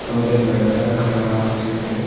और एक लड़का खड़ा होके है।